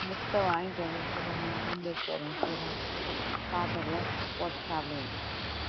முட்டை வாங்கிட்டு வந்து வச்சுருக்கேன் omelette சாப்பிடக்குல போட்டு சாப்பிட வேண்டியது தான்